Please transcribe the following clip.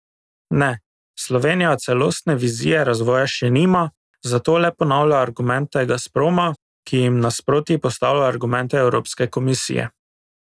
Ne, Slovenija celostne vizije razvoja še nima, zato le ponavlja argumente Gazproma, ki jim nasproti postavlja argumente evropske komisije.